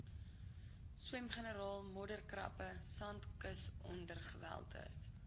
swemgarnale modderkrappe sandkusongewerweldes